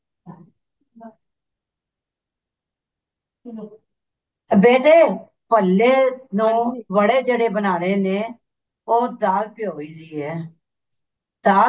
ਬੇਟੇ ਭੱਲੇ ਨੂੰ ਵਡੇ ਜਿਹੜੇ ਬਣਾਉਣੇ ਨੇ ਉਹ ਦਾਲ ਭਿਓਂ ਦੀ ਹੈ ਦਾਲ